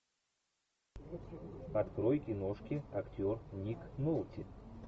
открой киношки актер ник нолти